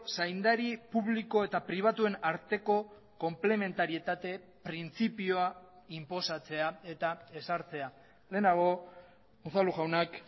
zaindari publiko eta pribatuen arteko konplementarietate printzipioa inposatzea eta ezartzea lehenago unzalu jaunak